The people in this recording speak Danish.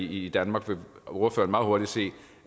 i danmark vil ordføreren meget hurtigt se